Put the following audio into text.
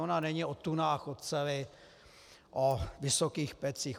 Ona není o tunách oceli, o vysokých pecích.